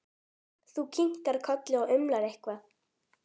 Þú kinkar kolli og umlar eitthvað.